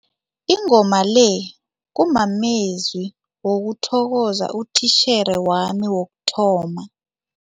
Ingoma le kumamezwi wokuthokoza utitjhere wami wokuthoma.